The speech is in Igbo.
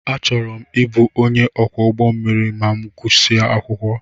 Ana m achọ ịbụ onye ọkwọ ụgbọ mmiri ma m gusia akwụkwọ.